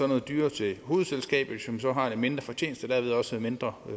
noget dyrere til hovedselskabet som så har en mindre fortjeneste og derved også en mindre